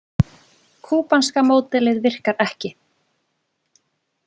Kúbanska módelið virkar ekki